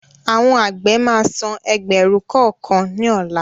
Àwọn àgbẹ̀ máa san ẹgbẹ̀rún kọ̀ọ̀kan ni ọ̀la